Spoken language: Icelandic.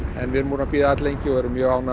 en við erum búin að bíða alllengi og erum mjög ánægð